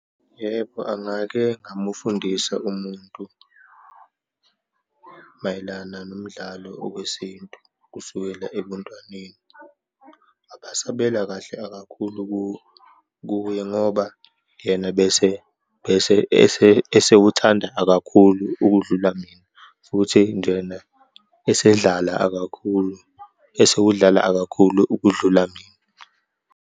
Yebo, angake ngamufundisa umuntu mayelana nomdlalo owesintu kusukela ebuntwaneni. Abasebela kahle akakhulu kuye ngoba yena bese, bese, ese, esewuthandayo kakhulu ukudlula mina, futhi njena esedlala akakhulu, esewudlala akakhulu ukudlula mina.